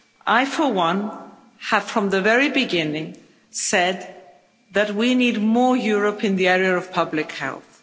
I, for one, have, from the very beginning, said that we need more Europe in the area of public health.